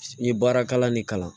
N ye baara kalan ni kalan